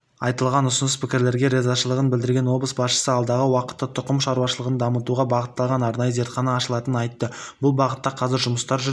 айтылған ұсыныс-пікірлерге ризашылығын білдірген облыс басшысы алдағы уақытта тұқым шаруашылығын дамытуға бағытталған арнайы зертхана ашылатынын айтты бұл бағытта қазір жұмыстар жүріп